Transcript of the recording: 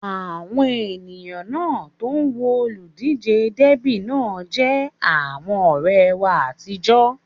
Àwọn èèyàn náà tó ń wo olùdíjé Dẹ́bì náà jẹ́ àwọn ọ̀rẹ́ wa àtijọ́